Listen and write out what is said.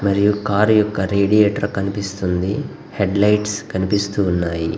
మరియు కార్ యొక్క రేడియటర్ కనిపిస్తూ ఉంది హెడ్ లైట్స్ కనిపిస్తూ ఉన్నాయి.